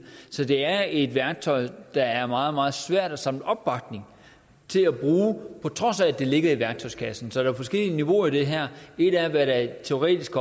så det er et værktøj der er meget meget svært at samle opbakning til at bruge på trods af at det ligger i værktøjskassen så der er forskellige niveauer i det her et er hvad der teoretisk